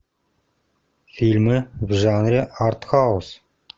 фильмы в жанре артхаус